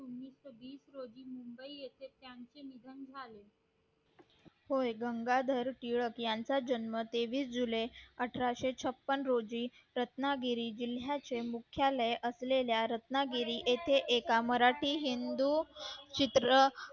होय गंगाधर टिळक यांचा जन्म तेवीस जुलै अठराशे छप्पन रोजी रत्नागिरी जिल्ह्याचे मुख्यालय असलेल्या रत्नागिरी येथे एका मराठी हिंदू चित्र